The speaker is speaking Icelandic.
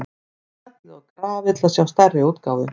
Smellið á grafið til að sjá stærri útgáfu.